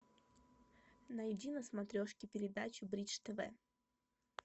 найди на смотрешке передачу бридж тв